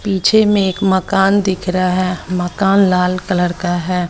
पीछे में एक मकान दिख रहा है मकान लाल कलर का है।